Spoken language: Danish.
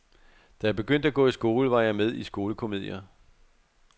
Da jeg begyndte at gå i skole, var jeg med i skolekomedier.